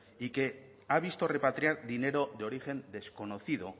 y que ha visto repatriar dinero de origen desconocido